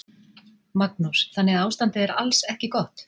Magnús: Þannig að ástandið er alls ekki gott?